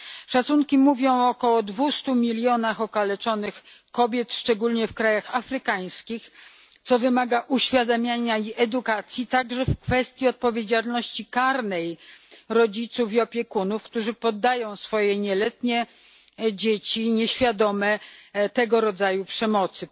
Szacunki mówią o około 200 milionach okaleczonych kobiet, szczególnie w krajach afrykańskich, a to wymaga uświadamiania i edukacji, także w kwestii odpowiedzialności karnej rodziców i opiekunów, którzy podają swoje nieletnie, nieświadome dzieci tego rodzaju przemocy.